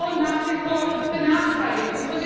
Da sind Frauen nach wie vor benachteiligt.